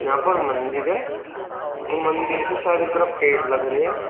यहां पर मंदिर है मंदिर के सारे तरफ पेड़ लग रहे हैं।